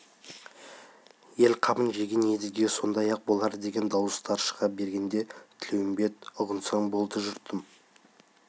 ел қамын жеген едіге осындай-ақ болар деген дауыстар шыға бергенде тілеуімбет ұғынсаң болды жұртым